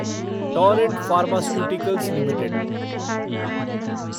Torrent Pharmaceuticals limited